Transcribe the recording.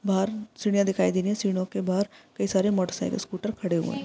बाहर सिडिया दिखाई दे रही है | सिडिओ के बाहर कई सारे मोटर साइकल स्कूटर खड़े हुए है।